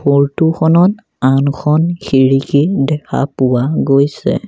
ফৰটোখনত খনত আনখন খিৰিকী দেখা পোৱা গৈছে।